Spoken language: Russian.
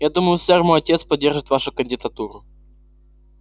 я думаю сэр мой отец поддержит вашу кандидатуру